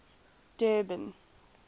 durban